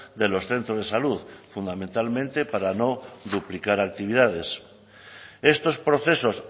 de los centros de salud fundamentalmente para no duplicar actividades estos procesos